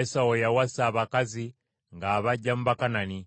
Esawu yawasa abakazi ng’abaggya mu Bakanani: